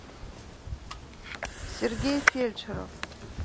сергей фельдшеров